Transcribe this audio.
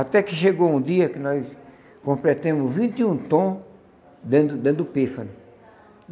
Até que chegou um dia que nós completamos vinte e um tom dentro do dentro do pífano.